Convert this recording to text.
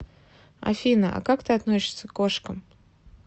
афина а как ты относишься к кошкам